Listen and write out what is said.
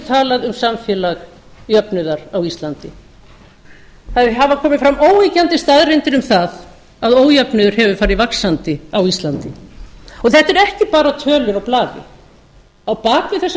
talað um samfélag jöfnuðar á íslandi það hafa komið fram óyggjandi staðreyndir um það að ójöfnuður hafi farið vaxandi á ísland þetta eru ekki bara tölur á blaði á bak